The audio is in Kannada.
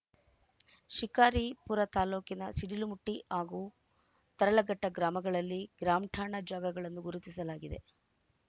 ಶಿಕಾರಿಪುರ ತಾಲೂಕಿನ ಸಿಡಿಲುಮಟ್ಟಿ ಹಾಗೂ ತರಲಘಟ್ಟಗ್ರಾಮಗಳಲ್ಲಿ ಗ್ರಾಮಠಾಣಾ ಜಾಗಗಳನ್ನು ಗುರುತಿಸಲಾಗಿದೆ